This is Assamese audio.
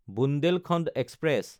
বুন্দেলখণ্ড এক্সপ্ৰেছ